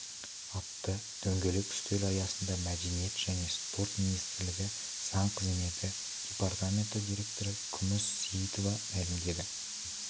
атты дөңгелек үстел аясында мәдениет және спорт министрлігі заң қызметі департаменті директоры күміс сеиітова мәлімдеді